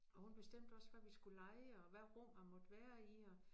Og hun bestemte også hvad vi skulle lege og hvad rum jeg måtte være i og